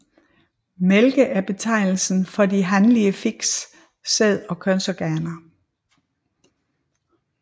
Mælke er betegnelsen for de hanlige fisks sæd og kønsorganer